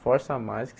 Força mais.